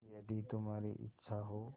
यदि तुम्हारी इच्छा हो